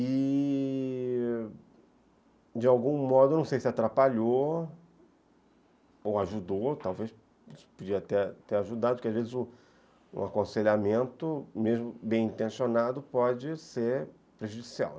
E... de algum modo, não sei se atrapalhou ou ajudou, talvez podia ter ajudado, porque, às vezes, um aconselhamento, mesmo bem intencionado, pode ser prejudicial.